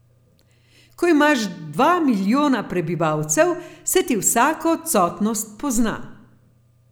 Ko imaš dva milijona prebivalcev, se ti vsaka odsotnost pozna.